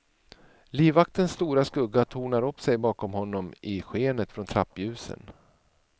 Livvaktens stora skugga tornar upp sig bakom honom i skenet från trappljusen.